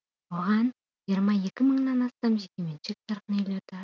оған жиырма екі мыңнан астам жекеменшік тұрғын үйлерді